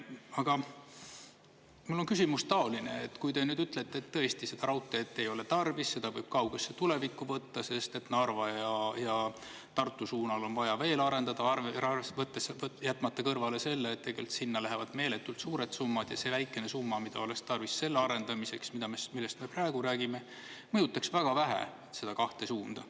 Aga mul on küsimus taoline, et kui te nüüd ütlete, et tõesti, seda raudteed ei ole tarvis, seda võib kaugesse tulevikku võtta, sest Narva ja Tartu suunal on vaja veel arendada, jätmata kõrvale selle, et tegelikult sinna lähevad meeletult suured summad ja see väikene summa, mida oleks tarvis selle arendamiseks, millest me praegu räägime, mõjutaks väga vähe seda kahte suunda.